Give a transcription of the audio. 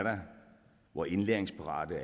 hvor indlæringsparate